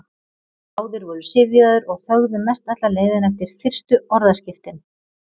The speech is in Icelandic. Báðir voru syfjaðir og þögðu mest alla leiðina eftir fyrstu orðaskiptin.